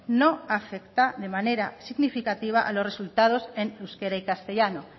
no afecta de manera significativa a los resultados en euskera y castellano